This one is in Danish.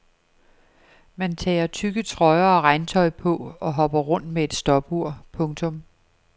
Man tager tykke trøjer og regntøj på og hopper rundt med et stopur. punktum